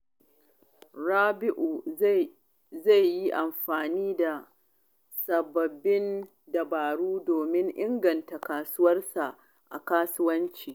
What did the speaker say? Rabi’u zai yi amfani da sababbin dabaru domin inganta ƙwarewarsa a kasuwanci.